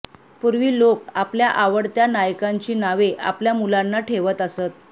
पूर्वी लोक आपल्या आवडत्या नायकांची नावे आपल्या मुलांना ठेवत असत